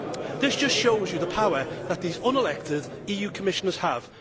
This just shows you the power that these unelected EU Commissioners have.